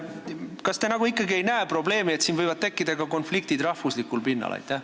Kas te ikkagi ei näe probleemi, et siin võivad tekkida ka konfliktid rahvuslikul pinnal?